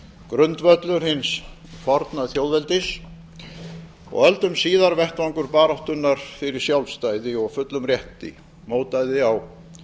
grundvöllur hins forna þjóðveldis og öldum síðar vettvangur baráttunnar fyrir sjálfstæði og fullum rétti mótaði á